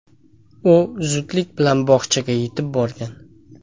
U zudlik bilan bog‘chaga yetib borgan.